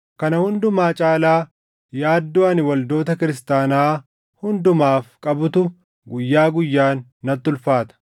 Kana hundumaa caalaa yaaddoo ani waldoota kiristaanaa hundumaaf qabutu guyyaa guyyaan natti ulfaata.